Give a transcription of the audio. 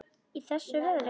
Í þessu veðri?